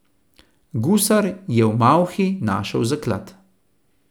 Gusar je v malhi našel zaklad.